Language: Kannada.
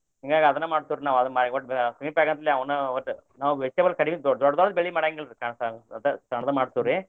ಹಿಂಗಾಗಿ ಅದನ್ನ ಮಾಡ್ತೇವ್ರಿ ನಾವ ಅದನ್ನ ಒಟ್ಟ meet ಆಗಂತ್ಲೆ ಅವನ್ ಒಟ್ಟ ನಾವ್ vegetable ಕಡಿಮಿ ದೊ~ ದೊಡ್ದ್ ದು ಬೆಳಿ ಮಾಡಾಂಗಿಲ್ರಿ ಸಣ್ಣ್ ಸಣ್ಣ್ ದು ಸ~ ಸಣ್ಣ್ ದು ಮಾಡ್ತೇವ್ರಿ.